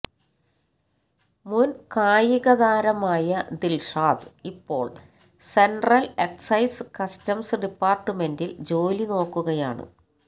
മുൻകായികതാരമായ ദിൽഷാദ് ഇപ്പോൾ central excise customs ഡിപ്പാർട്ട്മെന്റിൽ ജോലി നോക്കുകയാണ്